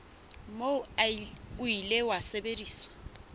moo o ile wa sebediswa